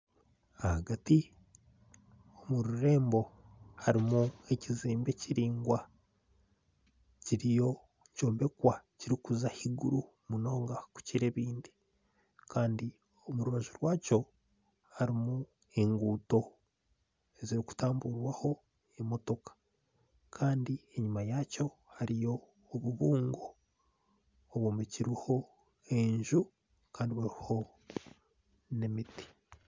Ahagati omu rurembo harimu ekizimbe kiraingwa kiriyo nikyombekwa kirikuza ahaiguru munonga kukora ebindi kandi omu rubaju rwakyo harimu enguuto yokutamburirwaho emotoka Kandi enyuma yaakyo harimu obubungo bwombekirweho enju Kandi buriho nemiti